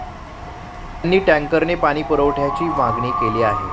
त्यांनी टँकरने पाणीपुरवठ्याची मागणी केली आहे.